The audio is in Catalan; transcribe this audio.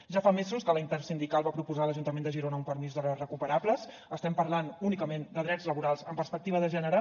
ja fa mesos que la intersindical va proposar a l’ajuntament de girona un permís d’hores recuperables estem parlant únicament de drets laborals amb perspectiva de gènere